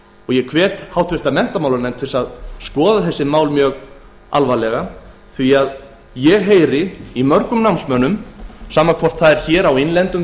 ég hvet háttvirtan menntamálanefnd til að skoða þessi mál mjög alvarlega því að ég heyri í mörgum námsmönnum sama hvort það er á innlendum